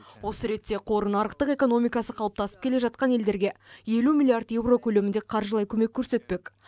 осы ретте қор нарықтық экономикасы қалыптасып келе жатқан елдерге елу миллиард евро көлемінде қаржылай көмек көрсетпек